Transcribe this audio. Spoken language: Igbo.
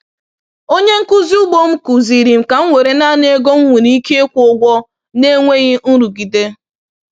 Onye nkuzi ugbo m kụziiri m ka m were naanị ego m m nwere ike ịkwụ ụgwọ na-enweghị nrụgide.